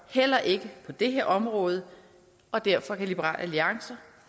heller ikke på det her område og derfor kan liberal alliance